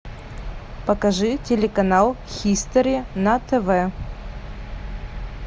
покажи телеканал хистори на тв